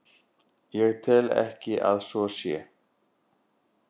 Ég tel ekki að svo sé.